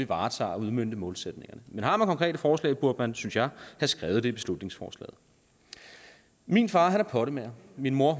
varetager og udmønter målsætningerne men har man konkrete forslag burde man synes jeg have skrevet det i beslutningsforslaget min far er pottemager min mor